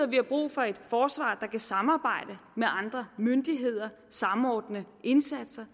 vi har brug for et forsvar der kan samarbejde med andre myndigheder samordne indsatser